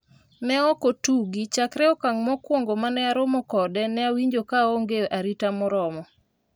ne ok otugi, chakre okang' mokwongo mane aromo kode ne awinjo ka aonge arita moromo